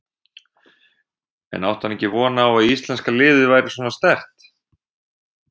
En átti hann ekki von á að íslenska liðið væri svona sterkt?